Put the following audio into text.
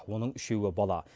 оның үшеуі бала